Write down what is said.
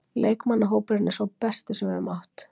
Leikmannahópurinn er sá besti sem við höfum átt.